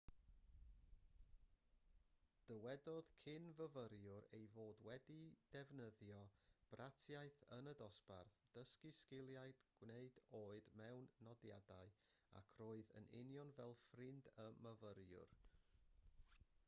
dywedodd cyn-fyfyriwr ei fod wedi defnyddio bratiaith yn y dosbarth dysgu sgiliau gwneud oed mewn nodiadau ac roedd yn union fel ffrind y myfyrwyr